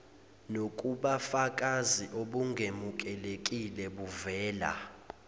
nokubafakazi obungemukelekile buvela